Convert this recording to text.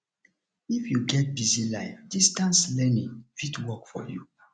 if you get busy life distance learning fit work for you